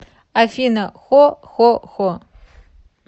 афина хо хо хо